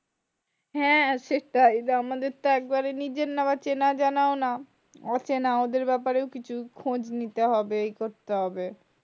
হ্যাঁ, সেটাই যে আমাদের তো একবারে নিজের না আবার চেনা জানাও না। অচেনা ওদের ব্যাপারে কিছু খোজ করতে হবে এ করতে হবে।